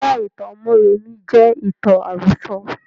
Rárá, ìtàn mọ́remí jẹ ìtàn àrọ̀sọ̀